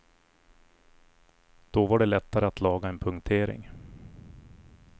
Då var det lättare att laga en punktering.